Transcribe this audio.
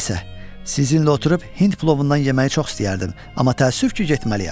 Nəsə, sizinlə oturub hind plovundan yeməyi çox istəyərdim, amma təəssüf ki, getməliyəm.